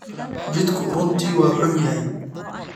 Jidku runtii waa xun yahay.